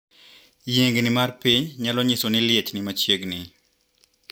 Yiengni mar piny nyalo nyiso ni liech nimachiegni.